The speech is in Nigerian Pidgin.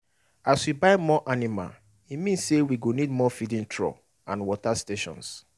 as we buy more animal e mean say we go need more feeding trough and water stations